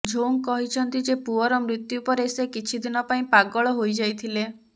Zhong କହିଛନ୍ତି ଯେ ପୁଅର ମୃତ୍ୟୁ ପରେ ସେ କିଛି ଦିନ ପାଇଁ ପାଗଳ ହୋଇଯାଇଥିଲେ